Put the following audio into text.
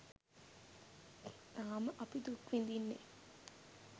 තාම අපි දුක් විදින්නේ.